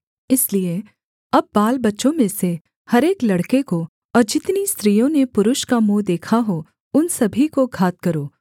इसलिए अब बालबच्चों में से हर एक लड़के को और जितनी स्त्रियों ने पुरुष का मुँह देखा हो उन सभी को घात करो